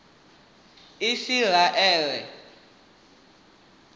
isiraele